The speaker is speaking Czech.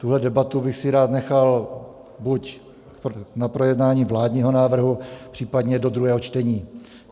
Tuhle debatu bych si rád nechal buď na projednání vládního návrhu, případně do druhého čtení.